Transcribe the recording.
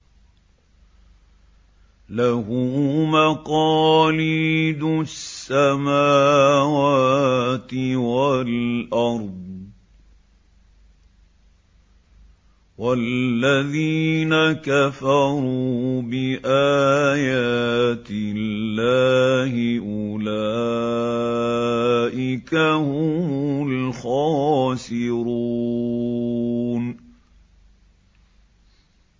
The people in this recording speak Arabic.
لَّهُ مَقَالِيدُ السَّمَاوَاتِ وَالْأَرْضِ ۗ وَالَّذِينَ كَفَرُوا بِآيَاتِ اللَّهِ أُولَٰئِكَ هُمُ الْخَاسِرُونَ